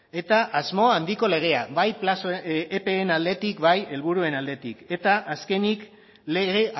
eta asmo handiko legea bai plazoen epeen aldetik bai helburuen aldetik eta azkenik lege